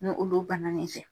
N'olu bana n'i fɛ.